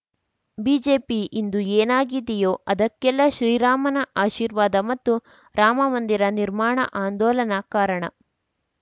BJP ಇಂದು ಏನಾಗಿದೆಯೋ ಅದಕ್ಕೆಲ್ಲಾ ಶ್ರೀರಾಮನ ಆಶೀರ್ವಾದ ಮತ್ತು ರಾಮಮಂದಿರ ನಿರ್ಮಾಣ ಆಂದೋಲನ ಕಾರಣ